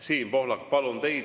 Siim Pohlak, palun!